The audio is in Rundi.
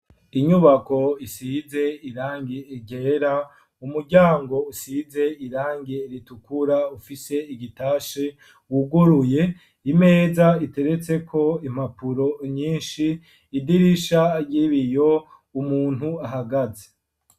Inyubako isize irangi igera umuryango usize irange ritukura ufise igitashe wuguruye imeza iteretse ko impapuro nyinshi idirisha ryibiyo umuntu ahagaze.